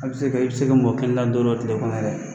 A bɛ se ka i bɛ se ka mɔgɔ kelen ta don dɔw tigɛ kɔnɛ yɛrɛ